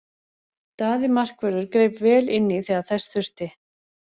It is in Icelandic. Daði markvörður greip vel inní þegar þess þurfti.